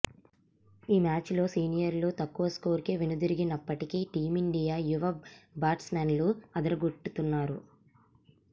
ఈ మ్యాచ్ లో సీనియర్లు తక్కువ స్కోరుకే వెనుదిరిగినప్పటికీ టీమిండియా యువ బాట్స్ మెన్లు అదరగొడుతున్నారు